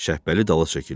Şəbbəli dala çəkildi.